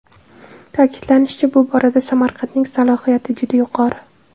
Ta’kidlanishicha, bu borada Samarqandning salohiyati juda yuqori.